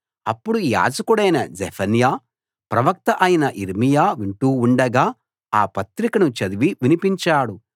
అప్పుడు యాజకుడైన జెఫన్యా ప్రవక్త అయిన యిర్మీయా వింటూ ఉండగా ఆ పత్రికను చదివి వినిపించాడు